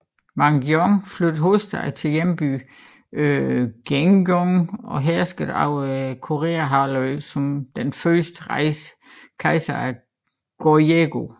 Wang Geon flyttede hovedstaden til hjembyen Gaegyeong og herskede over Koreahalvøen som den første kejser af Goryeo